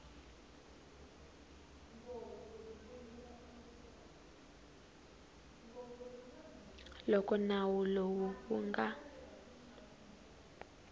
loko nawu lowu wu nga